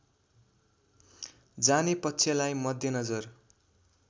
जाने पक्षलाई मध्यनजर